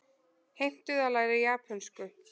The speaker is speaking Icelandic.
Heimtuðu að læra japönsku